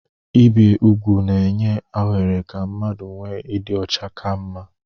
Ibi úgwù na-enye ohere ka mmadụ nwee ịdị ọcha ka mma